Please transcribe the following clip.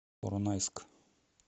поронайск